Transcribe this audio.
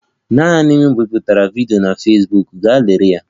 Naanị m biputere vidiyo na Fesbuk, gaa lelee ya